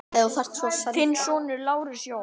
Þinn sonur, Lars Jóhann.